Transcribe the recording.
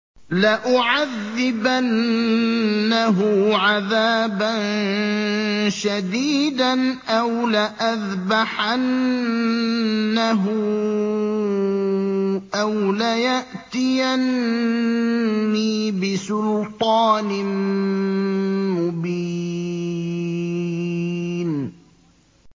لَأُعَذِّبَنَّهُ عَذَابًا شَدِيدًا أَوْ لَأَذْبَحَنَّهُ أَوْ لَيَأْتِيَنِّي بِسُلْطَانٍ مُّبِينٍ